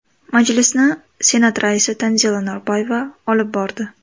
Majlisni Senat raisi Tanzila Norboyeva olib bordi.